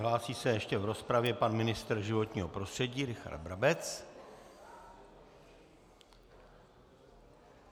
Hlásí se ještě v rozpravě pan ministr životního prostředí Richard Brabec.